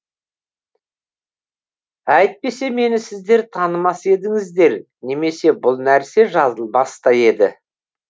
әйтпесе мені сіздер танымас едіңіздер немесе бұл нәрсе жазылмас та еді